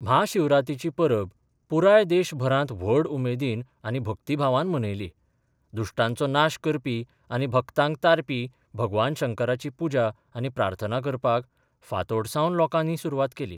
म्हाशिवरातीची परब पुराय देशभरात व्हड उमेदीन आनी भक्तीभावान मनयली, दुश्टांचो नाश करपी आनी भक्तांक तारपी भगवान शंकराची पुजा आनी प्रार्थना करपाक फांतोडसावन लोकांनी सुरवात केली.